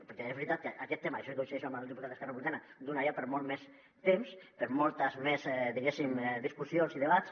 perquè és veritat que aquest tema en això coincideixo amb el diputat d’esquerra republicana donaria per molt més temps per moltes més diguéssim discussions i debats